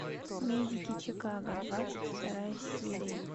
медики чикаго двадцать вторая серия